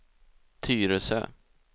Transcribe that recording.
Tyresö